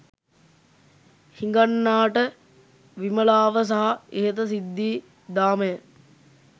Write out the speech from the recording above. හිඟන්නාට විමලාව සහ ඉහත සිද්ධී දාමය